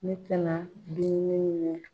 Ne te na